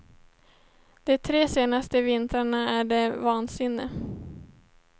De tre senaste vintrarna är det vansinne.